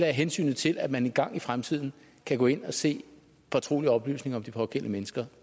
hensynet til at man engang i fremtiden kan gå ind og se fortrolige oplysninger om de pågældende mennesker